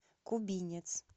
кубинец